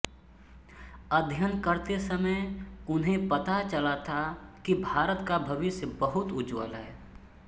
अध्ययन करते समय उन्हें पता चला था कि भारत का भविष्य बहुत उज्जवल है